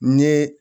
N ye